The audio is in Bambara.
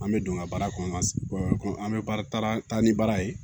An bɛ don n ka baara kɔnɔ an ka an bɛ baara taa ni baara ye